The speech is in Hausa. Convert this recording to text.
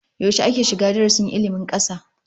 Yaushe ake shiga darasin ilmin kasa?